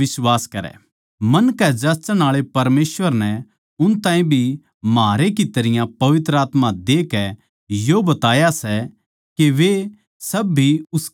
मन कै जाँचण आळे परमेसवर नै उन ताहीं भी म्हारै की तरियां पवित्र आत्मा देकै यो बताया सै के वे सब भी उसके माणस सै